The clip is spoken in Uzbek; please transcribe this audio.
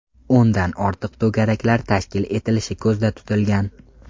O‘ndan ortiq to‘garaklar tashkil etilishi ko‘zda tutilgan.